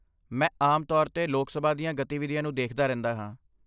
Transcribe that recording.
ਮੈਂ ਆਮ ਤੌਰ 'ਤੇ ਲੋਕ ਸਭਾ ਦੀਆਂ ਗਤੀਵਿਧੀਆਂ ਨੂੰ ਦੇਖਦਾ ਰਹਿੰਦਾ ਹਾਂ।